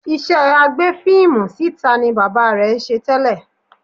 Iṣẹ́ agbé fíìmù síta ni bàbá rẹ̀ ń ṣe tẹ́lẹ̀